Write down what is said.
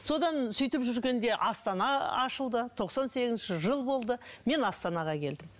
содан сөйтіп жүргенде астана ашылды тоқсан сегізінші жыл болды мен астанаға келдім